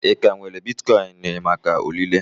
Ị ka nwere bitkoin maka ọrịre?